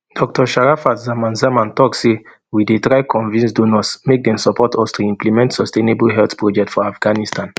dr sharafat zaman zaman tok say we dey try convince donors make dem support us to implement sustainable health project for afghanistan